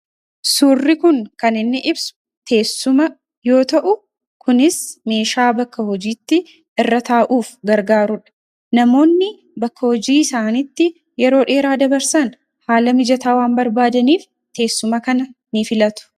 Suurri kun kan inni ibsu teessuma yoo ta’u, kunis meeshaa bakka hojiitti irra taa'uuf gargaarudha. Namoonni bakka hojii isaaniitti yeroo dheeraa dabarsan haala mijataa waan barbaadaniif teessuma kana ni filatu.